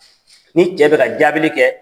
Ni cɛ bɛ ka jaabili kɛ